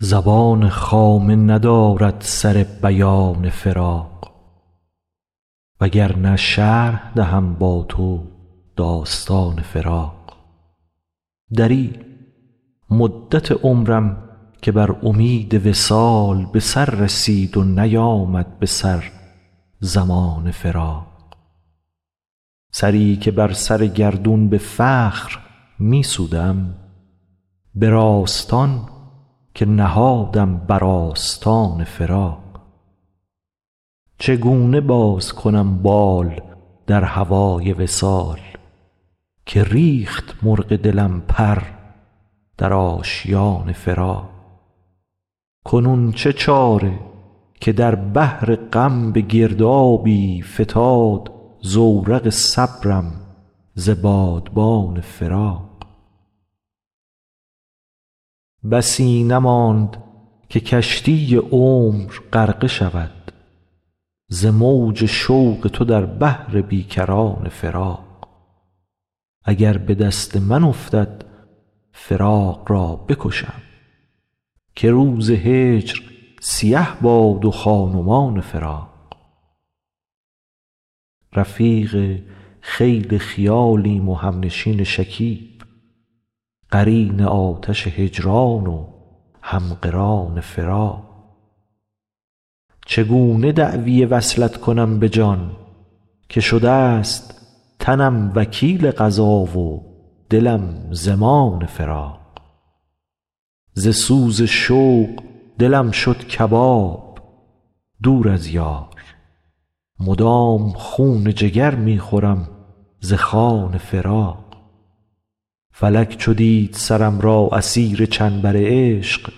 زبان خامه ندارد سر بیان فراق وگرنه شرح دهم با تو داستان فراق دریغ مدت عمرم که بر امید وصال به سر رسید و نیامد به سر زمان فراق سری که بر سر گردون به فخر می سودم به راستان که نهادم بر آستان فراق چگونه باز کنم بال در هوای وصال که ریخت مرغ دلم پر در آشیان فراق کنون چه چاره که در بحر غم به گردابی فتاد زورق صبرم ز بادبان فراق بسی نماند که کشتی عمر غرقه شود ز موج شوق تو در بحر بی کران فراق اگر به دست من افتد فراق را بکشم که روز هجر سیه باد و خان و مان فراق رفیق خیل خیالیم و همنشین شکیب قرین آتش هجران و هم قران فراق چگونه دعوی وصلت کنم به جان که شده ست تنم وکیل قضا و دلم ضمان فراق ز سوز شوق دلم شد کباب دور از یار مدام خون جگر می خورم ز خوان فراق فلک چو دید سرم را اسیر چنبر عشق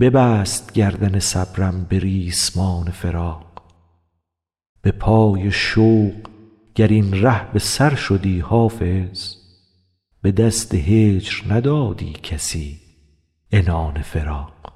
ببست گردن صبرم به ریسمان فراق به پای شوق گر این ره به سر شدی حافظ به دست هجر ندادی کسی عنان فراق